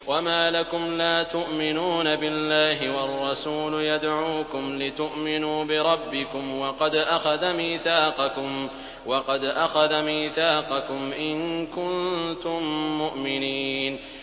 وَمَا لَكُمْ لَا تُؤْمِنُونَ بِاللَّهِ ۙ وَالرَّسُولُ يَدْعُوكُمْ لِتُؤْمِنُوا بِرَبِّكُمْ وَقَدْ أَخَذَ مِيثَاقَكُمْ إِن كُنتُم مُّؤْمِنِينَ